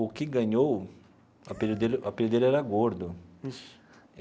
O que ganhou, o apelido dele o apelido dele era gordo.